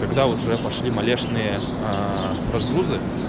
когда уже пошли малешные разгрузы